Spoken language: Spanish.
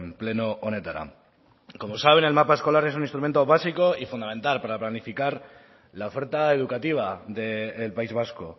pleno honetara como saben el mapa escolar es un instrumento básico y fundamental para planificar la oferta educativa del país vasco